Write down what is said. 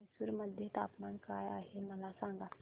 म्हैसूर मध्ये तापमान काय आहे मला सांगा